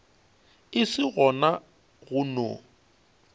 e se gona go no